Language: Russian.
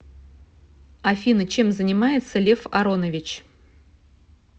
афина чем занимается лев аронович